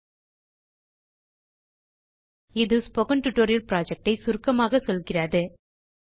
httpspoken tutorialorgwhat is a spoken tutorial spoken tutorial project குறித்துச் சுருக்கமாய்க் கூறுகிறது